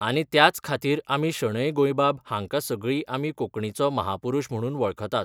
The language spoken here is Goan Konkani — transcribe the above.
आनी त्याच खातीर आमी शणै गोंयबाब हांका सगळी आमी कोंकणीचो महापुरुश म्हणून वळखतात.